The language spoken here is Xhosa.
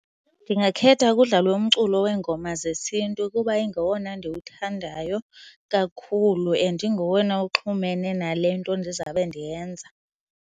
Ndingakhetha kudlalwe umculo weengoma zesiNtu kuba ingowona ndiwuthandayo kakhulu and ingowona uxhumene nale nto ndizawube ndiyenza.